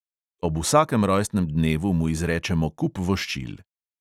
Ob vsakem rojstnem dnevu mu izrečemo kup voščil.